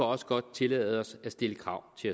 også godt tillade os at stille krav til